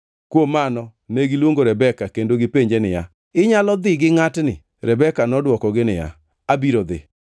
Kuom mano negiluongo Rebeka kendo gipenje niya, “Inyalo dhi gi ngʼatni?” Rebeka nodwokogi niya, “Abiro dhi.”